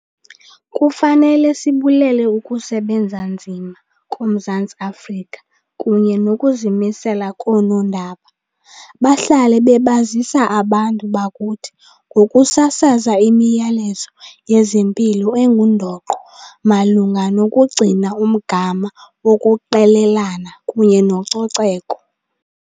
Kufanele sibulele ukusebenza nzima koMzantsi Afrika kunye nokuzimisela koonondaba. Bahlale bebazisa abantu bakuthi ngokusasaza imiyalezo yezempilo engundoqo malunga nokugcina umgama wokuqelelana kunye nococeko.